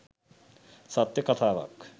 සත්‍ය කතාවක්.